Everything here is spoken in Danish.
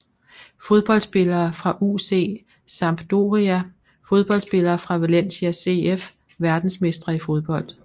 Fodboldspillere fra UC Sampdoria Fodboldspillere fra Valencia CF Verdensmestre i fodbold